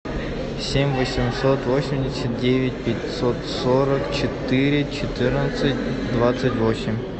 семь восемьсот восемьдесят девять пятьсот сорок четыре четырнадцать двадцать восемь